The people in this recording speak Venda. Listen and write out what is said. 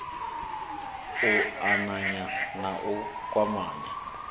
u ananya na u kwamanya